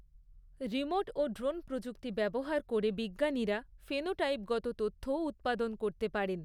Remote ও drone প্রযুক্তি ব্যবহার করে বিজ্ঞানীরা ফেনোটাইপগত তথ্যও উৎপাদন করতে পারেন।